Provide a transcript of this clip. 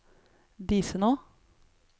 Disenå